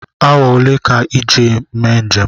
Awa olee ka iji mee njem?